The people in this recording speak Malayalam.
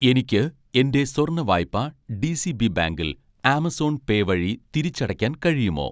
എനിക്ക് എൻ്റെ സ്വർണ്ണ വായ്പ ഡി.സി. ബി ബാങ്കിൽ ആമസോൺ പേ വഴി തിരിച്ചടയ്ക്കാൻ കഴിയുമോ?